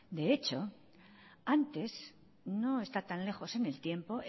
de hecho antes no está tan lejos en el tiempo